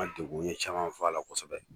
An deguni caman b'a la kosɛbɛ